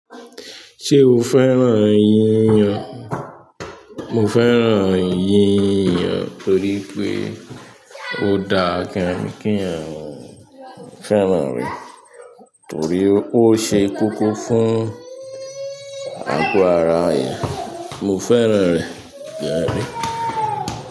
Ṣé o fẹ́ràn yíyàn? Mo fẹ́ràn yíyàn torí pé ó dá gan-an kí àwọn ènìyàn. Mo fẹ́ràn rẹ̀ torí ó ṣe kókó fún àgọ́ ara ènìyàn. Mo fẹ́ràn rẹ̀ gan-an ni.